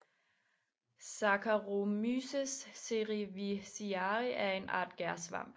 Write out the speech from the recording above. Saccharomyces cerevisiae er en art gærsvamp